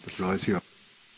Herr Präsident!